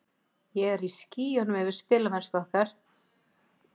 Ég er í skýjunum yfir spilamennsku okkar.